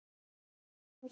Við gengum hugsi niður